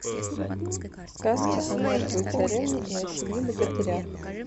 сказка о мертвой царевне и о семи богатырях